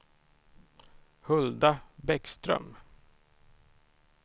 Hulda Bäckström